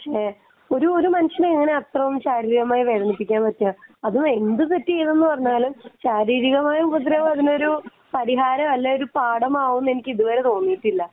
ഒരു മനുഷ്യനെ എങ്ങനെ ഇത്ര ശാരീരികമായിട്ട് വേദനിപ്പിക്കുക എന്ന് വച്ചാൽ അത് എന്ത് തെറ്റ് ചെയ്തു എന്ന് പറഞ്ഞാലും ശാരീരികമായ ഉപദ്രവം അതിനൊരു പരിഹാരമല്ല ഒരു പാഠമാവുമെന്നു എനിക്ക് ഇതുവരെ തോന്നിയിട്ടില്ല